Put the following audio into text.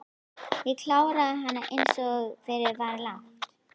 Ég kláraði hana einsog fyrir var lagt.